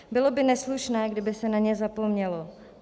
Bylo by neslušné, kdyby se na ně zapomnělo.